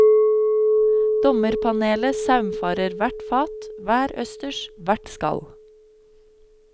Dommerpanelet saumfarer hvert fat, hver østers, hvert skall.